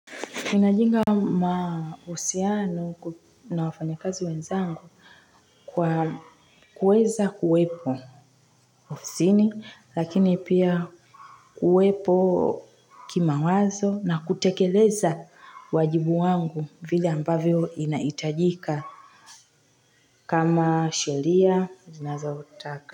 Ninajinga mahusiano na wafanyikazi wenzangu kwa kuweza kuwepo ofisini lakini pia kuwepo kimawazo na kutekeleza wajibu wangu vile ambavyo inaitajika kama sheria zinazotaka.